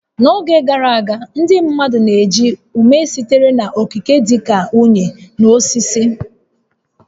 N'oge gara aga, ndị mmadụ na-eji ume sitere n'okike dị ka unyi na osisi